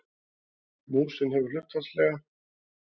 Músin hefur hlutfallslega